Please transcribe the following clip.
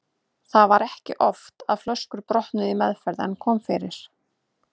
Það var ekki oft að flöskur brotnuðu í meðferð en kom fyrir.